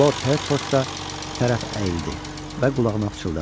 Lord Hertford da tərəf əyildi və qulağına pıçıldadı: